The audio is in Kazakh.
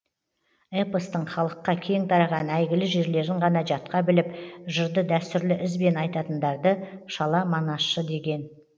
эпостың халыққа кең тараған әйгілі жерлерін ғана жатқа біліп жырды дәстүрлі ізбен айтатындарды шала манасшы деген